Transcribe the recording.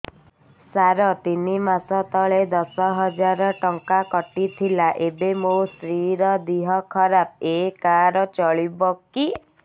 ସାର ତିନି ମାସ ତଳେ ଦଶ ହଜାର ଟଙ୍କା କଟି ଥିଲା ଏବେ ମୋ ସ୍ତ୍ରୀ ର ଦିହ ଖରାପ ଏ କାର୍ଡ ଚଳିବକି